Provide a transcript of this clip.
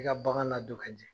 I ka bagan ladon ka ɲɛ.